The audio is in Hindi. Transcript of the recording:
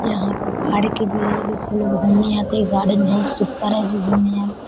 यहाँ पे जिसमे लोग घूमने आते हैं गार्डेन बहुत सुपर है जो घूमने आते है।